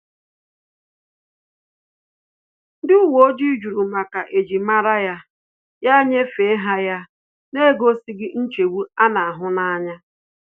Ndị uwe ojii jụrụ maka ejim mara ya, ya nyefee ha ya n'egosighi nchegbu a na-ahu anya